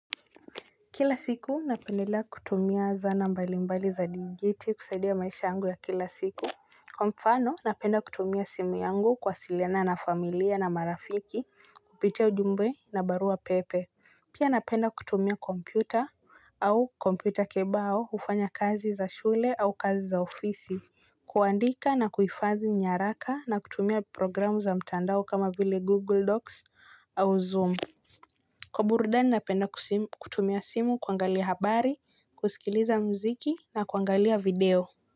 Kila siku napendelea kutumia zana mbalimbali za dingiti kusaidia maisha yangu ya kila siku. Kwa mfano napenda kutumia simu yangu kuwasiliana na familia na marafiki kupitia ujumbe na barua pepe. Pia napenda kutumia kompyuta au kompyuta kebao kufanya kazi za shule au kazi za ofisi kuandika na kuhifadhi nyaraka na kutumia programu za mtandao kama vile Google Docs au Zoom. Kwa burudani napenda kutumia simu kuangalia habari, kusikiliza muziki na kuangalia video.